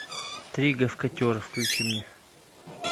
три гавкотера включи мне